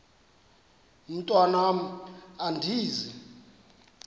mntwan am andizi